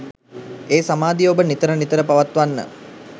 ඒ සමාධිය ඔබ නිතර නිතර පවත්වන්න.